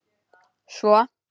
Svo?